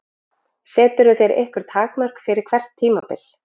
Seturðu þér einhver takmörk fyrir hvert tímabil?